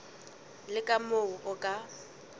le ka moo o ka